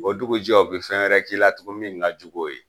O dugujɛ u bi fɛn wɛrɛ k'i la tugun min ka jugu o ye.